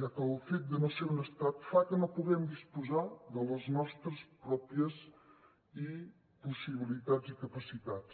ja que el fet de no ser un estat fa que no puguem disposar de les nostres pròpies possibilitats i capacitats